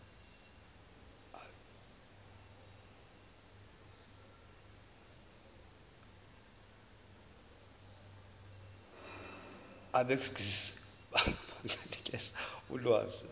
abegcis benganikeza ulwazi